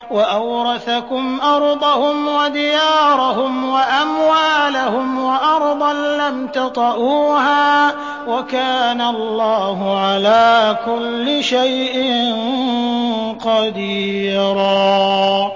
وَأَوْرَثَكُمْ أَرْضَهُمْ وَدِيَارَهُمْ وَأَمْوَالَهُمْ وَأَرْضًا لَّمْ تَطَئُوهَا ۚ وَكَانَ اللَّهُ عَلَىٰ كُلِّ شَيْءٍ قَدِيرًا